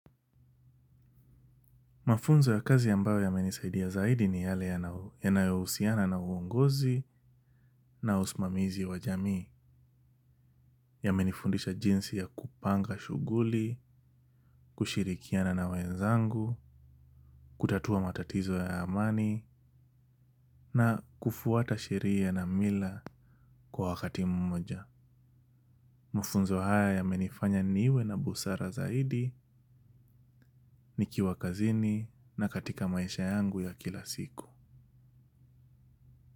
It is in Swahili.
Mafunzo ya kazi ambayo yamenisaidia zaidi ni yale yanayohusiana na uongozi na usimamizi wa jamii yamenifundisha jinsi ya kupanga shughuli, kushirikiana na wenzangu, kutatua matatizo ya amani na kufuata sheria na mila kwa wakati mmoja. Mafunzo haya ya menifanya niwe na busara zaidi ni kiwa kazini na katika maisha yangu ya kila siku.